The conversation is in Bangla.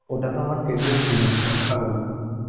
ওটা তো আমার favourite জিনিস মটকা বলে